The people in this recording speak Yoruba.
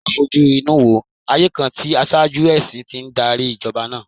Jẹ́ ká fojú inú wo ayé kan tí aṣáájú ẹ̀sìn ti ń darí Ìjọba náà!